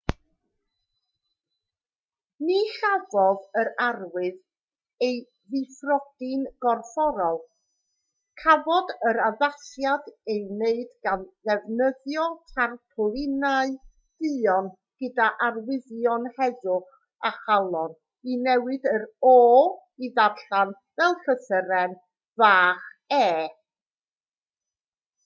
ni chafodd yr arwydd ei ddifrodi'n gorfforol cafodd yr addasiad ei wneud gan ddefnyddio tarpwlinau duon gydag arwyddion heddwch a chalon i newid yr o i ddarllen fel llythyren fach e